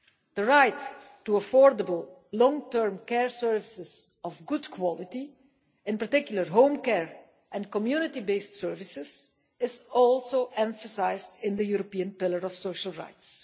The right to affordable long term care services of good quality, in particular home care and community based services, is also emphasised in the European Pillar of Social Rights.